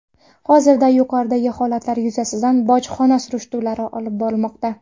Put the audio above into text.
Hozirda yuqoridagi holatlar yuzasidan bojxona surishtiruvlari olib borilmoqda.